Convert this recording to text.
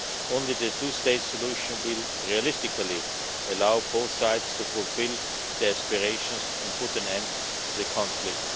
Only the two state solution will realistically allow both sides to fulfil their aspirations and put an end to the conflict.